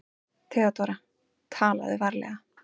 THEODÓRA: Talaðu varlega.